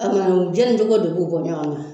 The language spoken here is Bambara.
O Kɔni o jɛnni cogo de b'u bɔ ɲɔgɔnna.